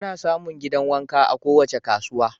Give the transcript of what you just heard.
Ana samun gidan wanka a kowace kasuwa